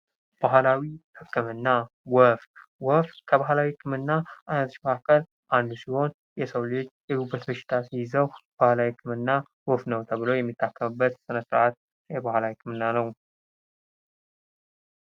ባህላዊ ሕክምና ወፍ ወፍ ከባህላዊ ህክምና አይነቶች መካካል አንዱ ሲሆን፤ የሰው ልጅ የጉበት በሽታ ሲይዘው ባህላዊ ህክምና ወፍ ነው ተብሎ የሚታከምበት ስነ ስርአት የባህል ሕክምና ነው።